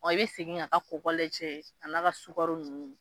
Ɔ i be segin k'a ka kokɔ lajɛ a n'a ka sugaro nunnu